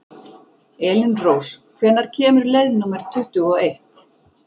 Elínrós, hvenær kemur leið númer tuttugu og eitt?